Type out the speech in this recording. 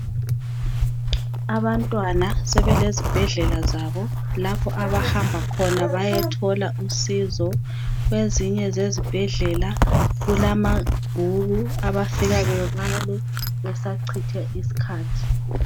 Abantwana sebelezi bhedlela zabo lapho abahamba khona bayethola usizo kwezinye zezibhedlela kulamabhuku abafika bebale besachitha iskhathi